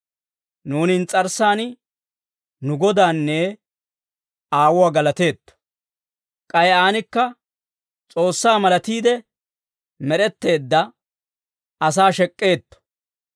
Nuuni ins's'arssan nu Godaanne Aawuwaa galateetto; k'ay aanikka S'oossaa malatiide med'etteedda asaa shek'k'eetto.